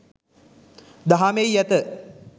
දහමෙහි ඇත.